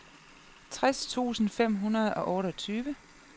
tres tusind fem hundrede og otteogtyve